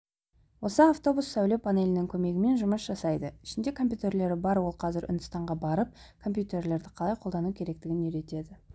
осы автобус сәуле панелінің көмегімен жұмыс жасайды ішінде компьютерлері бар ол қазір үндістанға барып компьютерлерді қалай қолдану керектігін үйретеді